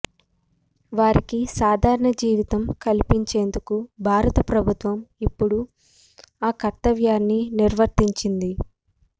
వారికి సాధారణ జీవితం కల్పించేందుకు భారత ప్రభుత్వం ఇప్పుడు ఆ కర్తవ్యాన్నే నిర్వర్తించింది